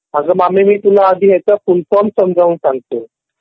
आगा मामी मी आधी तुला ह्याचा फुल फॉर्म समजून सांगतो